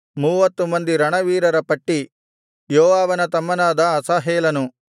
ಮೂವತ್ತು ಮಂದಿ ರಣವೀರರ ಪಟ್ಟಿ ಯೋವಾಬನ ತಮ್ಮನಾದ ಅಸಾಹೇಲನು